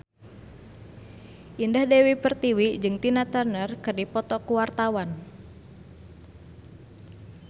Indah Dewi Pertiwi jeung Tina Turner keur dipoto ku wartawan